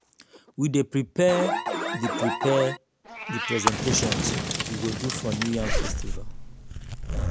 we dey prepare the prepare the presentation we go do for new yam festival